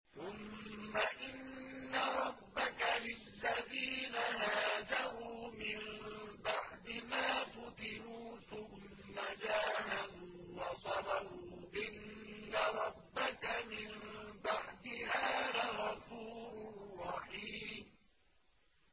ثُمَّ إِنَّ رَبَّكَ لِلَّذِينَ هَاجَرُوا مِن بَعْدِ مَا فُتِنُوا ثُمَّ جَاهَدُوا وَصَبَرُوا إِنَّ رَبَّكَ مِن بَعْدِهَا لَغَفُورٌ رَّحِيمٌ